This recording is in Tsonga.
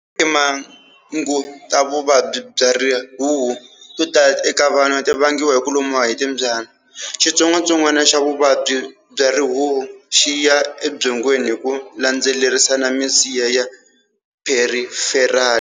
Timhangu ta vuvabyi bya rihuhu to tala eka vanhu ti vangiwa hi ku lumiwa hi timbyana. Xitsongwatsongwana xa vuvabyi bya rihuhu xi ya ebyongweni hi ku landzelerisa na misiha ya Periferali.